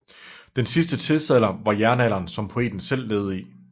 Den sidste tidsalder var jernalderen som poeten selv levede i